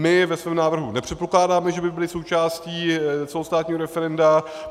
My ve svém návrhu nepředpokládáme, že by byly součástí celostátního referenda.